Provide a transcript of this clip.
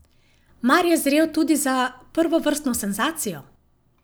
Mar je zrel tudi za prvovrstno senzacijo?